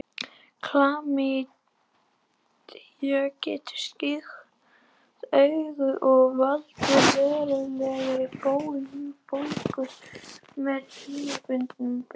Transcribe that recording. Klamydía getur sýkt augu og valdið verulegri bólgu með tímabundinni blindu.